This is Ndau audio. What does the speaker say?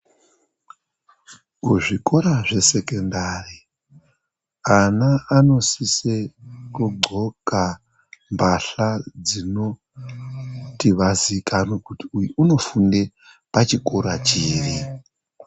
Kuzvikora zvesekondari ana anosisa kudxoka mbahla dzinoti vazikanwe kuti uyu anofunde pachikora chiri.